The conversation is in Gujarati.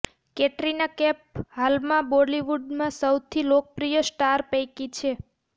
કેટરીના કેફ હાલમાં બોલિવુડમાં સૌથી લોકપ્રિય સ્ટાર પૈકી છે